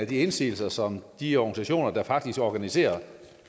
de indsigelser som de organisationer der faktisk organiserer